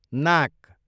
नाक